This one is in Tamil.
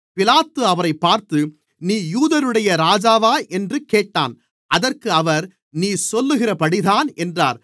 பிலாத்து அவரைப் பார்த்து நீ யூதர்களுடைய ராஜாவா என்று கேட்டான் அதற்கு அவர் நீர் சொல்லுகிறபடிதான் என்றார்